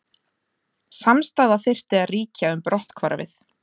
Samstaða þyrfti að ríkja um brotthvarfið